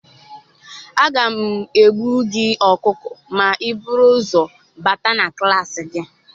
Aga m egbu gị ọkụkọ ma i buru ụzọ bata na klaasị gị